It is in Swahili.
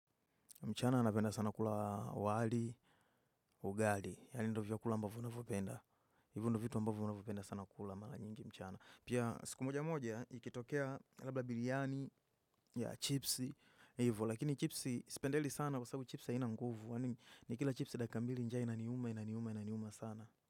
Mchana anapenda sana kula wali, ugali. Yaani ndo vya kula ambavyo ninavyopenda. Hivyo ndo vitu ambavyo navyopenda sana kula. Mara nyingi mchana. Pia siku moja moja ikitokea labda biriani ya chipsi. Hivo, lakini chipsi sipendeli sana kwa sababu chipsiha inanguvu. Ni kila chipsi daki kambili njaa inaniuma, inaniuma, inaniuma sana.